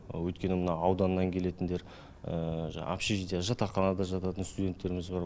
өйткені мына ауданнан келетіндер жаңағы общежитие жатақханада жататын студенттеріміз бар